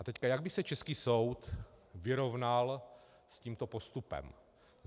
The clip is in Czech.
A teď, jak by se český soud vyrovnal s tímto postupem?